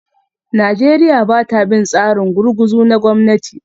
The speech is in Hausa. Najeriya ba ta bin tsarin gurguzu na gwamnati